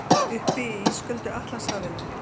Uppi í ísköldu Atlantshafinu.